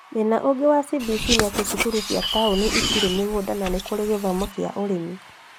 Thĩna ũngi wa CBC nĩati cukuru cia tauni itirĩ mĩgũnda na nĩkũrĩ gĩthomo kĩa ũrĩmi